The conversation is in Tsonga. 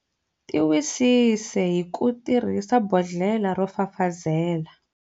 Tiwisise hi ku tirhisa bodhlela ro fafazela.